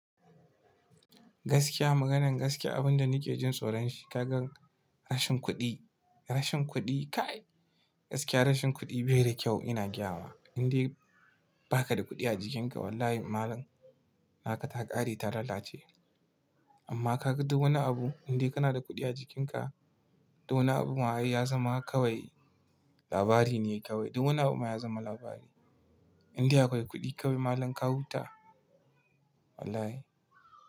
Gaskiya maganan gaskiya abunda nike jin tsoron shi, kagan rashin kuɗi, rashin kuɗi kai gaskiya rashin kuɗi bai da kyau ina gayama. Inde baka da kuɗi a jikinka wallahi malam naka ta ƙare ta lalace. Amma kaga duk wani abu indai kana da kuɗi a jikinka, duk wani abu ma'ai ya zama kawai labari ne kawai. Duk wani abu ma ya zama labari. Indai akwai kuɗi kawai malam ka huta wallahi.